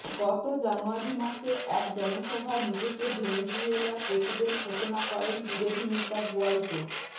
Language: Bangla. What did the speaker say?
গত জানুয়ারি মাসে এক জনসভায় নিজেকে ভেনিজুয়েলার প্রেসিডেন্ট ঘোষণা করেন বিরোধী নেতা গুয়াইদো